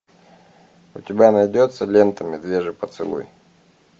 у тебя найдется лента медвежий поцелуй